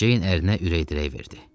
Ceyin ərinə ürək dirək verdi.